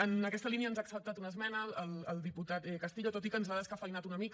en aquesta línia ens ha acceptat una esmena el diputat castillo tot i que ens l’ha descafeïnat una mica